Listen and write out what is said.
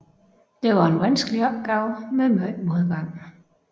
Det var en vanskelig opgave med meget modgang